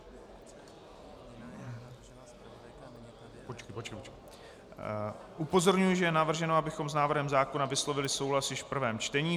Upozorňuji, že je navrženo, abychom s návrhem zákona vyslovili souhlas již v prvém čtení.